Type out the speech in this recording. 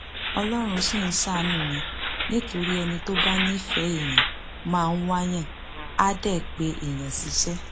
ọlọrun ṣì ń ṣàánú mi nítorí ẹni tó bá nífẹẹ èèyàn máa wáàyàn àá dé pé èèyàn ṣiṣẹ